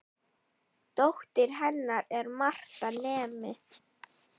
Dóttir hennar er Marta nemi.